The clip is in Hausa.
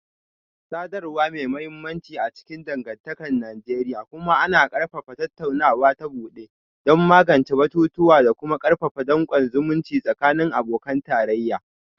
Sadarwa mai mahimmanci a cikin dangantakar Najeriya, kuma ana ƙarfafa tattaunawa ta bude don magance batutuwa da kuma karfafa dankon zumunci tsakanin abokan tarayya